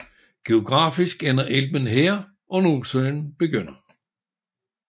Geografisk ender Elben her og Nordsøen begynder